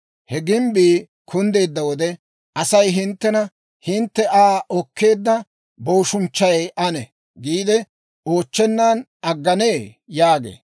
He gimbbii kunddeedda wode, Asay hinttena, hintte Aa okkeedda booshunchchay ane?» giide oochchennan agganee? yaagee.